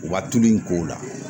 U ka tulu in k'o la